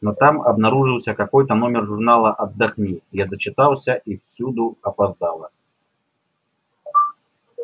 но там обнаружился какой-то номер журнала отдохни я зачитался и всюду опоздала